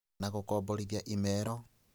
Na gũkomborithia imero